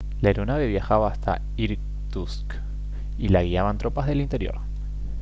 la aeronave viajaba hacia irkutsk y la guiaban tropas del interior